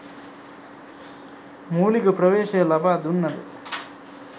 මූලික ප්‍රවේශය ලබා දුන්නද